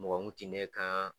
Mɔgɔ kun ti ne kan